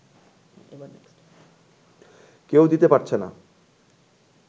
কেউ দিতে পারছে না